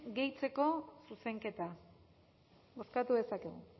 gehitzeko zuzenketa bozkatu dezakegu